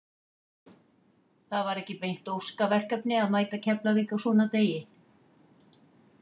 Það var ekki beint óska verkefni að mæta Keflavík á svona degi.